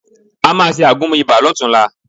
A máa ṣe àgúnmu ibà lọ́tunla